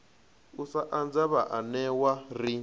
u sa anza vhaanewa ri